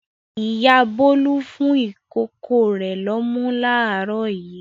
Ìyá Bólú fún ìkókó rẹ̀ lọ́mú láàárọ̀ yìí.